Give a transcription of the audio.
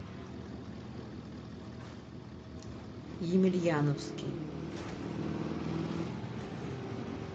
емельяновский